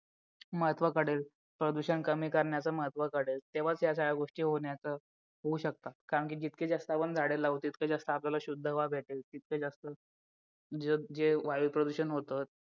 महत्व कळेल प्रदूषण कमी करण्याचे महत्त्व कळेल तेव्हाच ह्या गोष्टी होण्याचं होऊ शकतो कारण की जितके जास्त आपण झाडे लावू तितके जास्त आपल्याला शुद्ध हवा भेटेल तितके जास्त जे वायू प्रदूषण होतं